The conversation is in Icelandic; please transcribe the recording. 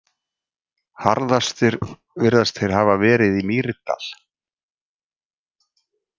Harðastir virðast þeir hafa verið í Mýrdal.